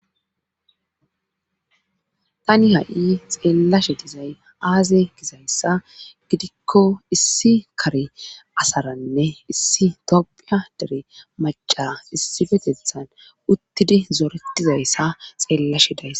tani ha'i xeellashe dizay aaze gizayssa gidikko issi kari asaranne issi tophia dere maca issi petethan uttidi zoretizayssa xeellashe dayas